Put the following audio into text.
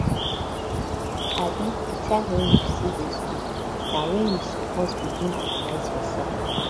um di time wen you still dey skool na wen you suppose begin organise yoursef